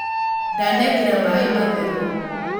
Ndanekĩra maĩ matheru